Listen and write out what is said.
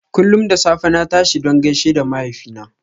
Kullum da safe na tashi don gaishe da mahaifina.